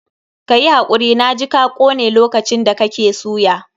Ka yi hakuri, na ji ka kone lokacin da kake suya.